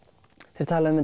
þeir tala um